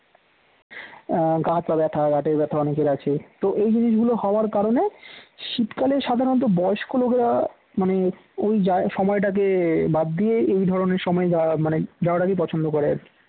গা হাত পা ব্যথা ঘাটের ব্যথা অনেকের আছে তো এই জিনিসগুলো হওয়ার কারণে শীতকালে সাধারণত বয়স্ক লোকেরা মানে ওই যা সময়টাকে বাদ দিয়ে এই ধরনের সময় যাওয়া মানে যাওয়াটাকে পছন্দ করে আর কি